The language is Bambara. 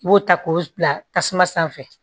I b'o ta k'o bila tasuma sanfɛ